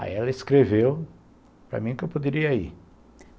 Aí ela escreveu para mim que eu poderia ir.